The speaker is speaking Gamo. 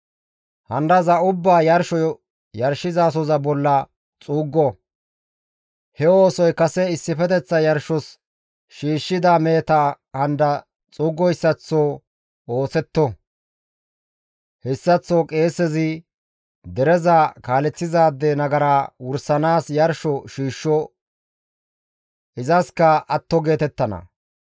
Handaza ubbaa yarsho yarshizasoza bolla xuuggo; he oosoy kase issifeteththa yarshos shiishshida meheta handa xuuggoyssaththo ooththetto; hessaththo qeesezi dereza kaaleththizaade nagara wursanaas yarsho shiishsho; izaskka atto geetettana.